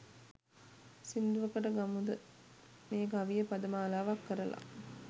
සින්දුවකට ගම්මුද මේ කවිය පදමාලාවක් කරලා?